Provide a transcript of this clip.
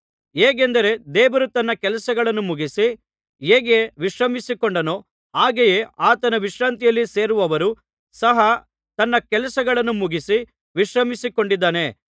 ಹೇಗೆಂದರೆ ದೇವರು ತನ್ನ ಕೆಲಸಗಳನ್ನು ಮುಗಿಸಿ ಹೇಗೆ ವಿಶ್ರಮಿಸಿಕೊಂಡನೋ ಹಾಗೆಯೇ ಆತನ ವಿಶ್ರಾಂತಿಯಲ್ಲಿ ಸೇರಿರುವವನು ಸಹ ತನ್ನ ಕೆಲಸಗಳನ್ನು ಮುಗಿಸಿ ವಿಶ್ರಮಿಸಿಕೊಂಡಿದ್ದಾನೆ